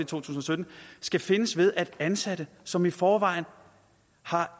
tusind og sytten skal findes ved at ansatte som i forvejen har